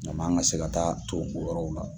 Ɲaman ka se ka taa ton o yɔrɔw la.